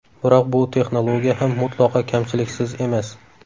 Biroq bu texnologiya ham mutlaqo kamchiliksiz emas.